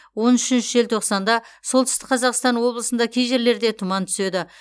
он үшінші желтоқсанда солтүстік қазақстан облысында кей жерлерде тұман түседі